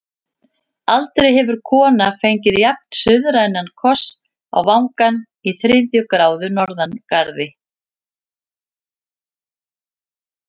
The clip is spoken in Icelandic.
Aldrei hefur kona fengið jafn-suðrænan koss á vangann í þriðju gráðu norðangarði.